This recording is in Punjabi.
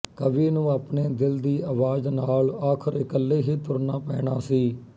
ਕਵੀ ਨੂੰ ਆਪਣੇ ਦਿਲ ਦੀ ਆਵਾਜ਼ ਨਾਲ ਆਖਿਰ ਇੱਕਲੇ ਹੀ ਤੁਰਨਾ ਪੈਣਾ ਸੀ